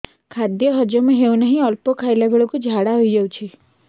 ଖାଦ୍ୟ ହଜମ ହେଉ ନାହିଁ ଅଳ୍ପ ଖାଇଲା ବେଳକୁ ଝାଡ଼ା ହୋଇଯାଉଛି